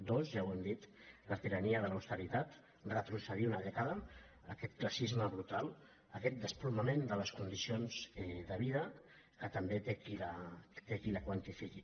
dos ja ho hem dit la tirania de l’austeritat retrocedir una dècada aquest classisme brutal aquest desploma·ment de les condicions de vida que també té qui ho quantifiqui